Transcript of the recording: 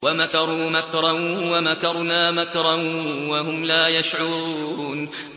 وَمَكَرُوا مَكْرًا وَمَكَرْنَا مَكْرًا وَهُمْ لَا يَشْعُرُونَ